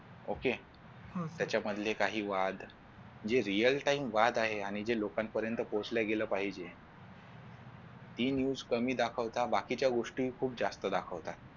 okay त्याच्यामधले काही वाद जे real time वाद आहे आणि जे लोकांपर्यंत पोचल्या गेल पाहिजे ती news कमी दाखवता बाकीच्या गोष्टी जास्त दाखवतात.